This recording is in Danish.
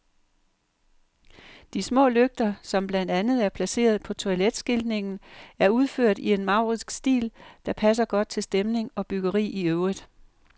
De små lygter, som blandt andet er placeret på toiletskiltningen, er udført i en maurisk stil, der passer godt til stemning og byggeri i øvrigt.